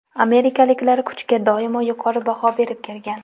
Amerikaliklar kuchga doimo yuqori baho berib kelgan.